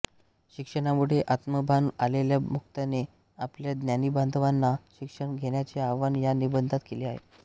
शिक्षणामुळे आत्मभान आलेल्या मुक्ताने आपल्या ज्ञातिबांधवांना शिक्षण घेण्याचे आवाहन या निबंधात केले आहे